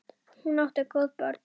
Hún átti góð börn.